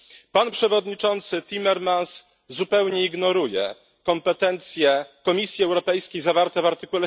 Pan przewodniczący Timmermans zupełnie ignoruje kompetencje Komisji Europejskiej zawarte w art.